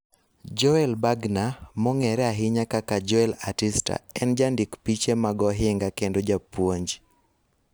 Joel Bergner, mong'ere ahinya kaka Joel Artista en jandik piche mag ohinga kendo japuonj